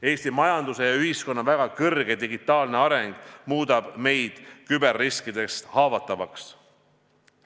Eesti majanduse ja ühiskonna väga kõrge digitaalne arengutase muudab meid küberriskidest haavatavaks.